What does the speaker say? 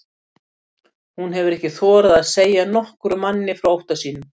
Hún hefur ekki þorað að segja nokkrum manni frá ótta sínum.